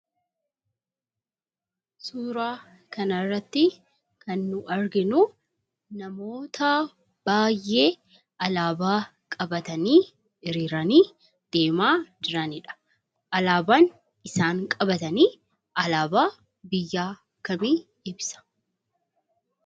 Suuraan kana irratti kan nu arginu namoota baay'ee alaabaa qabatanii, hiriiranii, deemaa jiranidha. Alaabaan isaan qabatan alaabaa biyya kamii ibsa?